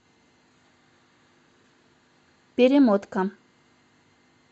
перемотка